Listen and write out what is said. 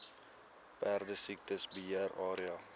perdesiekte beheer area